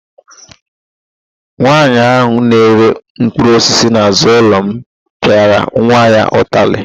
Nwaanyị ahụ na-ere mkpụrụosisi n'azụ ụlọ m pịara nwa ya ụtalị.